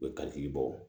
U bɛ katigi bɔ